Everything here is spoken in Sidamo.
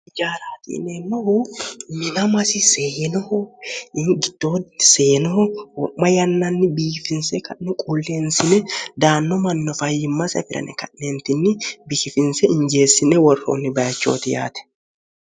jaaraatiineennoho minamasi seenoho ingittoonni seenoho wo'ma yannanni biiifinse kannu quulleensine daanno manno fayyimma safirane ka'neentinni biihifinse injeessine worroonni bayichooti yaate